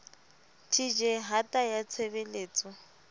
tj hata ya tshe beletso